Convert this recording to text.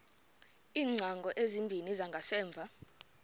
iingcango ezimbini zangasemva